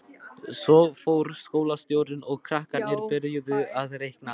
Svo fór skólastjórinn og krakkarnir byrjuðu að reikna.